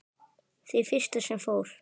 Því fyrsta sem fór.